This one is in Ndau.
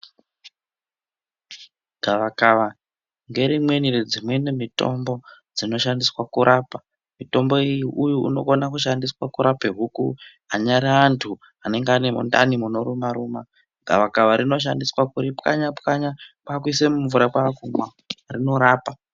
Gavakava nderimweni redzimweni mitombo dzinoshandiswa kurapa, mutombo uyu unogone kushandiswa kurape huku, anyara antu anenge ane mundani munoruma ruma, gavakava inoshandiswa kuripwanya pwanya kwakuriise mumvura kwakumwa rinorapa.